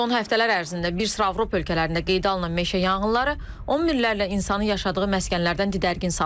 Son həftələr ərzində bir sıra Avropa ölkələrində qeydə alınan meşə yanğınları on minlərlə insanı yaşadığı məskənlərdən didərgin salıb.